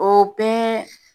O bɛɛ